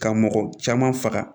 Ka mɔgɔ caman faga